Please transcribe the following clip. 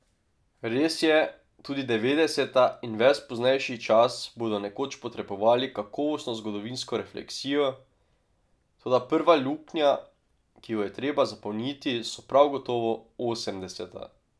Res je, tudi devetdeseta in ves poznejši čas bodo nekoč potrebovali kakovostno zgodovinsko refleksijo, toda prva luknja, ki jo je treba zapolniti, so prav gotovo osemdeseta.